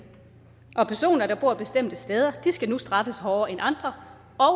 og personer der bor bestemte steder skal nu straffes hårdere end andre og